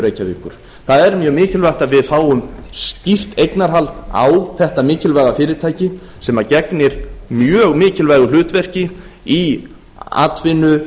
reykjavíkur það er mjög mikilvægt að við fáum skýrt eignarhald á þetta mikilvæga fyrirtæki sem gegnir mjög mikilvægu hlutverki í atvinnu